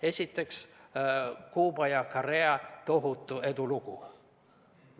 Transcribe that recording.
Esiteks, Kuuba ja Korea tohutu edulugu.